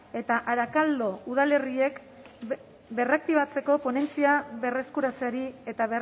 eta arakaldo udalerriak berraktibatzeko ponentzia berreskuratzeari eta